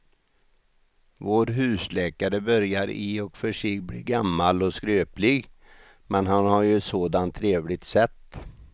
Vår husläkare börjar i och för sig bli gammal och skröplig, men han har ju ett sådant trevligt sätt!